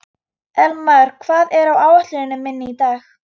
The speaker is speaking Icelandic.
Elmar, hvað er á áætluninni minni í dag?